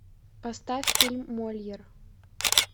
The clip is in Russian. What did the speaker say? поставь фильм мольер